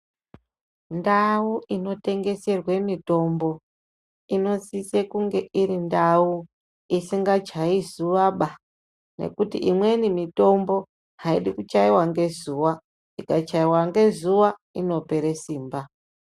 Ndao unotengeserwe mitombo inosisa kunge irindao isikachai zuva baa nekuti imweni mitombo haidi kuchaiwa nezuva ikachaiwa nezuva inopere simba .